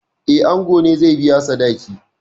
Eh, ango ne zai biya sadaki.